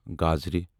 گازرٕ